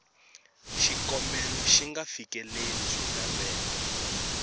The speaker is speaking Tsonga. xikombelo xi nga fikeleli swilaveko